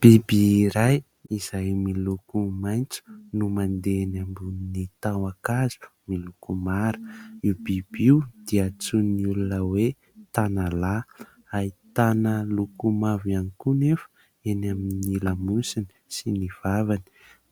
Biby iray izay miloko maitso no mandeha eny ambonin'ny tahon-kazo miloko mara. Io biby io dia antsoin'ny olona hoe tanalahy. Ahitana loko mavo ihany koa anefa eny amin'ny lamosiny sy ny vavany.